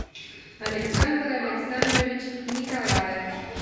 александр александрович николаев